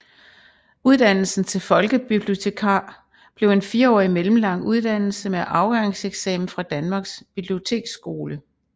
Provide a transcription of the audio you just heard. Uddannelsen til folkebibliotekar blev en fireårig mellemlang uddannelse med afgangseksamen fra Danmarks Biblioteksskole